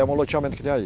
É loteamento que tem aí.